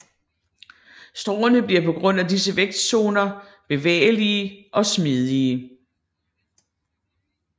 Stråene bliver på grund af disse vækstzoner bevægelige og smidige